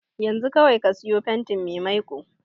Yanzu kawai ka siyo fantin mai maiko.